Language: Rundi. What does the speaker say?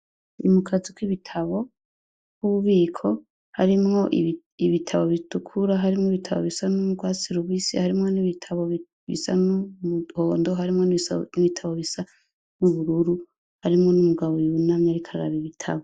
Ni mu kazu k'ibitabo k'ububiko harimwo ibitabo bitukura, harimwo n'ibitabo bisa n'urwatsi rubisi, harimwo n'ibitabo bisa n'umuhondo, harimwo n'ibitabo bisa n'ubururu, harimwo n'umugabo yunamye ariko araba ibitabo.